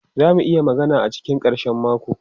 Za mu iya magana a cikin karshen mako?